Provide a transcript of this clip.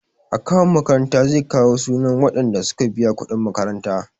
Akawun makarantar zai kawo sunan waɗanda suka biya kuɗin makaranta.